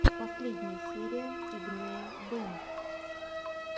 последняя серия игнея бэнд